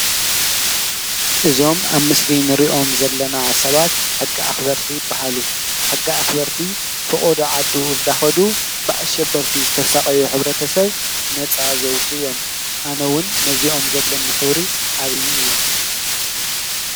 እዞም ኣብ ምስሊ እንሪኦም ዘለና ሰባት ሕጊ ኣኽበርቲ ይበሃሉ ።ሕጊ ኣኽበርቲ ፈቆዶ ዓዱ እናኸዱ ብኣሸበርቲ ዝተሳቐዩ ሕብረተሰብ ነፃ ዘወፅኡ እዮም። ኣነ እዉን ነዚኦም ዘለኒ ክብሪ ዓብዪ እዩ።